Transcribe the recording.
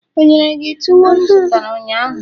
o nyere gi tuwo m zụtara ụnyaahụ?